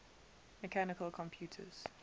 mechanical computers